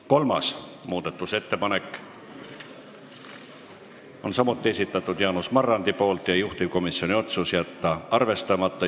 Kolmanda muudatusettepaneku on samuti esitanud Jaanus Marrandi ja juhtivkomisjoni otsus on jätta see arvestamata.